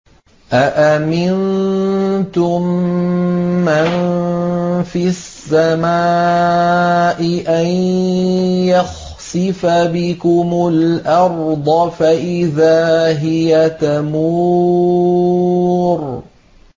أَأَمِنتُم مَّن فِي السَّمَاءِ أَن يَخْسِفَ بِكُمُ الْأَرْضَ فَإِذَا هِيَ تَمُورُ